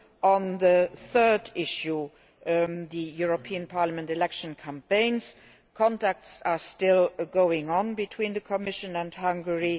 On the third issue, the European Parliament election campaigns, contacts are still ongoing between the Commission and Hungary.